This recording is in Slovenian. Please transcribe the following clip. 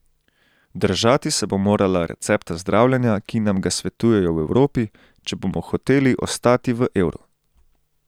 Držati se bo morala recepta zdravljenja, ki nam ga svetujejo v Evropi, če bomo hoteli ostati v evru.